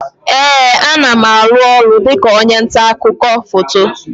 Ee, a na m aru ọrụ dịka onye nta akụkọ foto